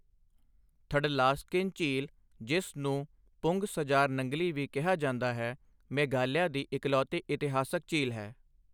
ਥੱਡਲਾਸਕਿਨ ਝੀਲ, ਜਿਸ ਨੂੰ ਪੁੰਗ ਸਜਾਰ ਨੰਗਲੀ ਵੀ ਕਿਹਾ ਜਾਂਦਾ ਹੈ, ਮੇਘਾਲਿਆ ਦੀ ਇਕਲੌਤੀ ਇਤਿਹਾਸਕ ਝੀਲ ਹੈ।